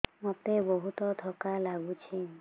ମୋତେ ବହୁତ୍ ଥକା ଲାଗୁଛି